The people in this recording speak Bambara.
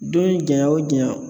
Don jaɲa o jaɲa